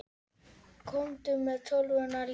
Komdu með tölvuna líka.